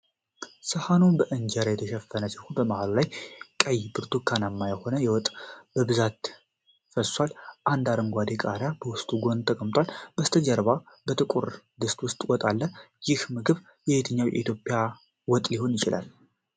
ሰሀኑ በእንጀራ የተሸፈነ ሲሆን፣ በመሃሉ ላይ ቀይ ብርቱካንማ የሆነ ወጥ በብዛት ፈሷል። አንድ አረንጓዴ ቃሪያ በወጡ ጎን ተቀምጧል። ከበስተጀርባ በ ጥቁር ድስት ውስጥ ወጥ አለ። ይህ ምግብ የትኛው የኢትዮጵያ ወጥ ሊሆን ይችላል?